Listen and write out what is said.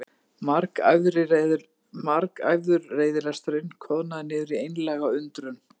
Margæfður reiðilesturinn koðnaði niður í einlæga undrun.